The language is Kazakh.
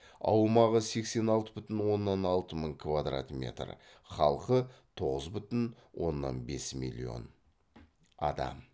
аумағы сексен алты бүтін оннан алты мың квадрат метр халқы тоғыз бүтін оннан бес миллион адам